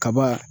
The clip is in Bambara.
Kaba